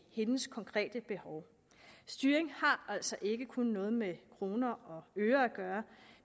hendes konkrete behov styring har altså ikke kun noget med kroner og øre at gøre